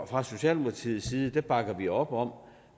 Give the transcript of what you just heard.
fra socialdemokratiets side bakker vi op om